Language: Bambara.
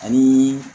Ani